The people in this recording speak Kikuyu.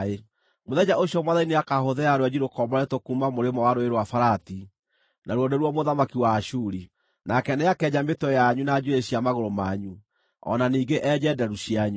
Mũthenya ũcio Mwathani nĩakahũthĩra rwenji rũkomboretwo kuuma mũrĩmo wa Rũũĩ rwa Farati; naruo nĩruo mũthamaki wa Ashuri; nake nĩakenja mĩtwe yanyu na njuĩrĩ cia magũrũ manyu, o na ningĩ enje nderu cianyu.